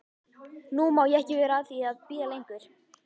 Nú má ég ekki vera að því að bíða lengur.